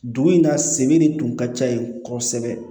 Dugu in na sen de tun ka ca yen kosɛbɛ